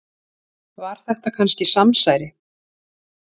Var þetta kannski samsæri?